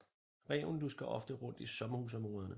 Ræven lusker ofte rundt i sommerhusområderne